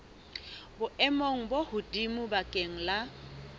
boemong bo hodimo bakeng la